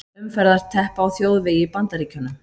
Umferðarteppa á þjóðvegi í Bandaríkjunum.